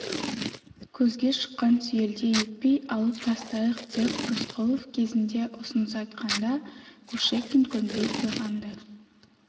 көзге шыққан сүйелдей етпей алып тастайық деп рысқұлов кезінде ұсыныс айтқанда кушекин көнбей қойған-ды